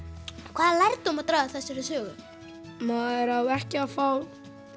hvaða lærdóm má draga af þessari sögu maður á ekki að fá